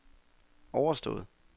overstået